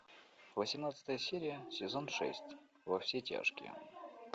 восемнадцатая серия сезон шесть во все тяжкие